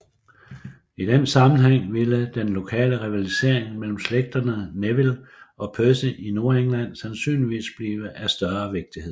I den sammenhæng ville den lokale rivalisering mellem slægterne Neville og Percy i Nordengland sandsynligvis blive af større vigtighed